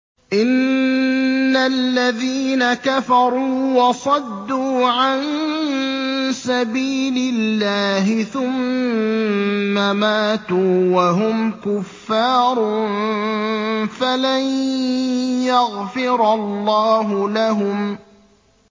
إِنَّ الَّذِينَ كَفَرُوا وَصَدُّوا عَن سَبِيلِ اللَّهِ ثُمَّ مَاتُوا وَهُمْ كُفَّارٌ فَلَن يَغْفِرَ اللَّهُ لَهُمْ